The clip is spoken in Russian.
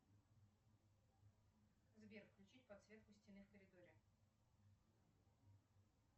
сбер включить подсветку стены в коридоре